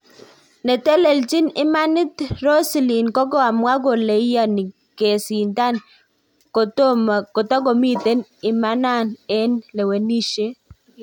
Neteteachi imanat Rosielin kokamwa koleiyani kesitan kotkomiten imanan eng lewenishet